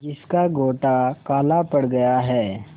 जिसका गोटा काला पड़ गया है